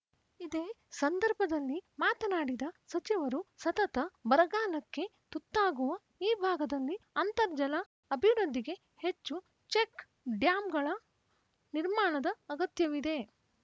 ಇದೇ ಸಂದರ್ಭದಲ್ಲಿ ಮಾತನಾಡಿದ ಸಚಿವರು ಸತತ ಬರಗಾಲಕ್ಕೆ ತುತ್ತಾಗುವ ಈ ಭಾಗದಲ್ಲಿ ಅಂತರ್ಜಲ ಅಭಿವೃದ್ಧಿಗೆ ಹೆಚ್ಚು ಚೆಕ್‌ ಡ್ಯಾಂಗಳ ನಿರ್ಮಾಣದ ಅಗತ್ಯವಿದೆ